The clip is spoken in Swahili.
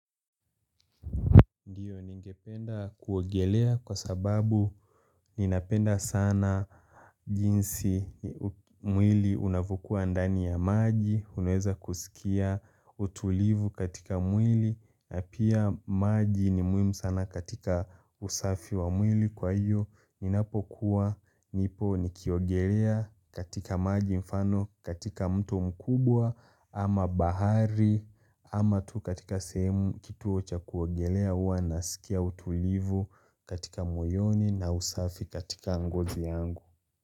Ndio ningependa kuogelea kwa sababu ninapenda sana jinsi mwili unavyokuwa ndani ya maji, unaweza kusikia utulivu katika mwili, na pia maji ni muhimu sana katika usafi wa mwili kwa hiyo, ninapokuwa nipo nikiogelea katika maji mfano katika mto mkubwa ama bahari, ama tu katika sehemu kituo cha kuogelea huwa nasikia utulivu katika moyoni na usafi katika ngozi yangu.